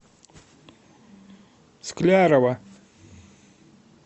склярова